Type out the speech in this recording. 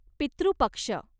पितृ पक्ष